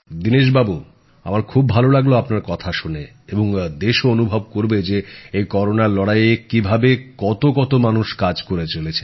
দীনেশবাবু আমার খুব ভাল লাগল আপনার কথা শুনে এবং দেশও অনুভব করবে যে এই করোনার লড়াইয়ে কীভাবে কত কত মানুষ কাজ করে চলেছেন